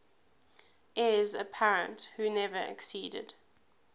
heirs apparent who never acceded